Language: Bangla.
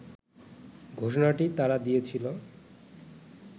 ঘোষণাটি তারা দিয়েছিল